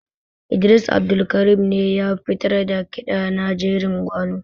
Idris Abdulkarim ne ya fitar da ƙiɗa na jerin gwano.